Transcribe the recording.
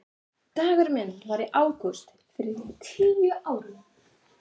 Dagurinn minn var í ágúst fyrir tíu árum.